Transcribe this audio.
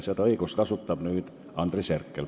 Seda õigust kasutab nüüd Andres Herkel.